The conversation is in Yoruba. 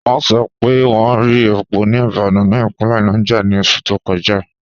Wọn sọ̀ pé wọn rí è̩pó ni ibikan ni ipinlẹ̀ Niger ni oṣù to kọja.